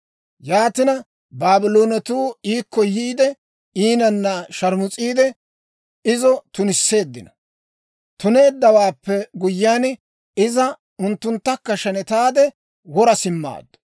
Yaatina, Baabloonetuu iikko yiide, iinanna sharmus'iide, izo tunisseeddino. Tuneeddawaappe guyyiyaan, iza unttunttakka shenetaade, wora simmaaddu.